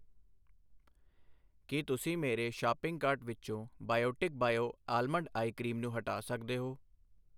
ਕੀ ਤੁਸੀਂ ਮੇਰੇ shopping cart ਵਿੱਚੋਂ Biotique bio almond eye cream ਨੂੰ ਹਟਾ ਸਕਦੇ ਹੋ?